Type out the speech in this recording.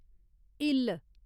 इल्ल